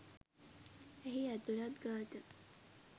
එහි ඇතුළත් ගාථා